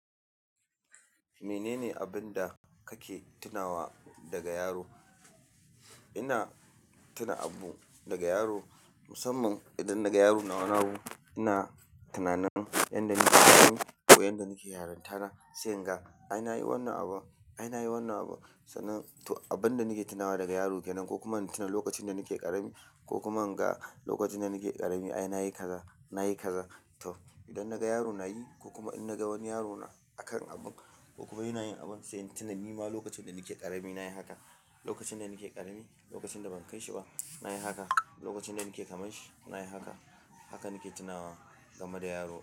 Menene abin da kake tunawa daga yaro? Ina tuna abu daga yaro, musamman idan naga yaro na wani abu ina tunanin inda nake ƙarami ko inda nake yarinta na, se inga ai nayi wannan abu, ai nayi wannan abu. Sannan to abin da nake tunawa daga yaro kenan ko kuma in tuna lokacin da nake ƙarami ko kuma inga lokacin da nake ƙarami ai nayi kaza nayi kaza. To idan naga yaro nayi ko kuma in naga wani yaro na akan abu ko kuma ina yin abu sai in tuna nima lokacin da nake ƙarami nayi haka. Lokacin da nake ƙarami, lokacin da ban kai shi ba nayi haka, lokacin da nake kaman shi nayi haka. Haka nake tunawa game da yaro.